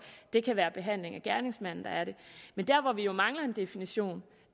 det kan være behandling af gerningsmanden der er det men der hvor vi jo mangler en definition